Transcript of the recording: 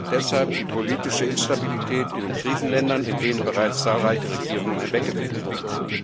Deshalb die politische Instabilität in den Krisenländern, in denen bereits zahlreiche Regierungen hinweggefegt wurden.